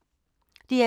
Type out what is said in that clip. DR P2